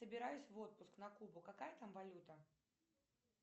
собираюсь в отпуск на кубу какая там валюта